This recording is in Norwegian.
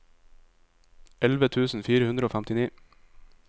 elleve tusen fire hundre og femtini